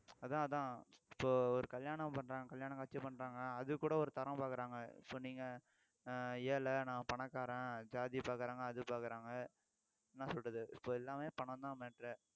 அதான் அதான் இப்ப ஒரு கல்யாணம் பண்றாங்க கல்யாணம் காட்சி பண்றாங்க அதுக்கு கூட ஒரு தரம் பாக்குறாங்க so நீங்க ஏழை நான் பணக்காரன் ஜாதி பார்க்கிறாங்க அது பார்க்கிறாங்க என்ன சொல்றது இப்ப எல்லாமே பணம்தான் matter